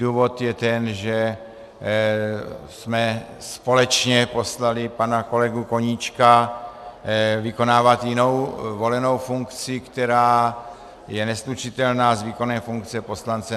Důvod je ten, že jsme společně poslali pana kolegu Koníčka vykonávat jinou volenou funkci, která je neslučitelná s výkonem funkce poslance.